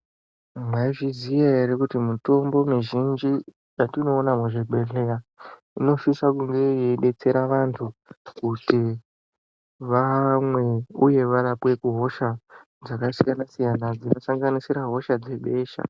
Maizviziya ere kuti mitombo mizhinji yatinoona mu zvibhedhleya ino sisa kunge yei detsera vantu kuti vamwe uye varapwe ku hosha dzaka siyana siyana dzino sanganisira hosha dzebesha.